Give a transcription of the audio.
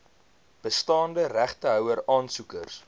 bestaande regtehouer aansoekers